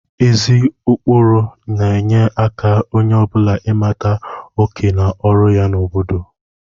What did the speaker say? Ezi ụkpụrụ na-enye aka onye ọ bụla ịmata oké na ọrụ ya n'obodo